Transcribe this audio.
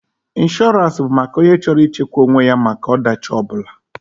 Inshọrance bụ maka onye chọrọ ị chekwa onwe ya maka ọ dachi ọ bụla.